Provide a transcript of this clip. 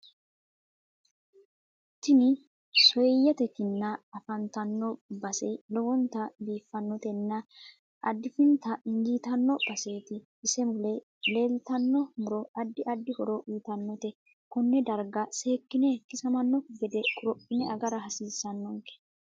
Tini sooiyyete kinna afatanno base lowonta biifinotenna adfinita ijiitinno baseti ise mule laeeltanno muro addi addi horo uyiitanote konnee darga seekine kisamanokki gede korophine agara hasiisanonke